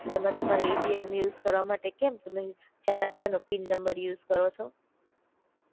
એમ તમારે ATM use કરવા માટે કેમ તમે ચાર અકડાનો પિન નંબર યુઝ કરો છો.